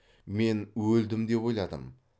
мен өлдім деп ойладым